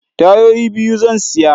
Tayoyi biyu zan siya.